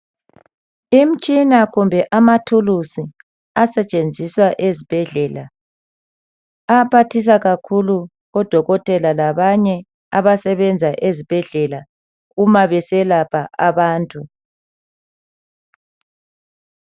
Imtshina kumbe amathulusi asetshenziswa ezibhedlela ayaphathisa kakhulu odokotela labanye abasebenza ezibhedlela uma beselapha abantu